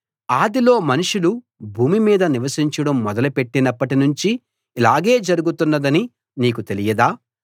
ఆదిలో మనుషులు భూమి మీద నివసించడం మొదలు పెట్టినప్పటి నుంచి ఇలాగే జరుగుతున్నదని నీకు తెలియదా